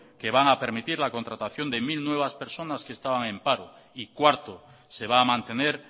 que van a permitir la contratación de mil nuevas personas que estaban en paro y cuarto se va a mantener